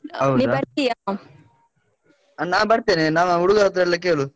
ಅ ನಾ ಬರ್ತೆನೆ, ನಮ್ಮ ಹುಡುಗ್ರತ್ರೆಲ್ಲ ಕೇಳು.